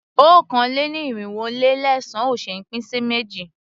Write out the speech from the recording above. Okòó-lé-ní-irinwó-lé-ẹ̀sán ò ṣé é pín sí méjì.